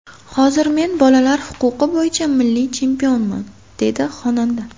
Hozir men bolalar huquqi bo‘yicha milliy chempionman”, dedi xonanda.